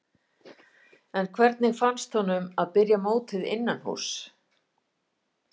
En hvernig fannst honum að byrja mótið innanhúss?